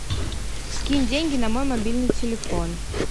скинь деньги на мой мобильный телефон